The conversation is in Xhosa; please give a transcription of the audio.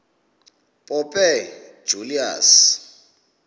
pope julius